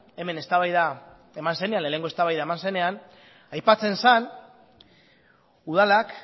lehenengo eztabaida eman zenean aipatzen zen udalak